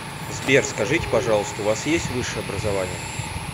сбер скажите пожалуйста у вас есть высшее образование